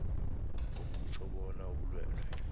akutjho bona ubulwelwe